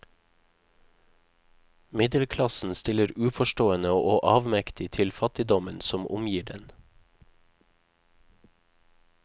Middelklassen stiller uforstående og avmektig til fattigdommen som omgir den.